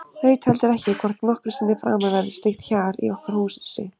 Veit heldur ekki hvort nokkru sinni framar verður slíkt hjal í okkar húsi.